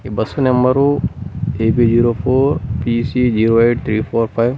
ఈ bus number A P zero four T C zero eight three four five.